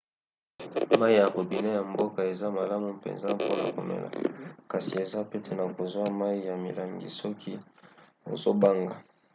mai ya robinet ya mboka eza malamu mpenza mpona komela kasi eza pete na kozwa mai ya milangi soki ozobanga